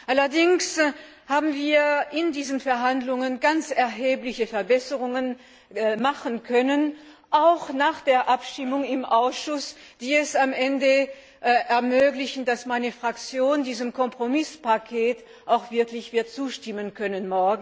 Allerdings haben wir in diesen Verhandlungen ganz erhebliche Verbesserungen machen können, auch nach der Abstimmung im Ausschuss, die es am Ende ermöglichten, dass meine Fraktion diesem Kompromisspaket morgen auch wirklich wird zustimmen können.